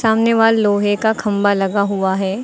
सामने वह लोहे का खंभा लगा हुआ है।